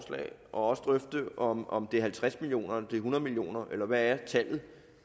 også drøfte om om det er halvtreds million om det er hundrede million kr eller hvad tallet